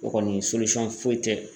O kɔni foyi tɛ